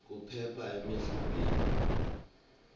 kuphepha emidlalweni